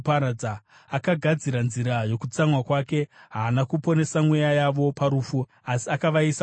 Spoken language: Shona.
Akagadzira nzira yokutsamwa kwake; haana kuponesa mweya yavo parufu asi akavaisa kudenda.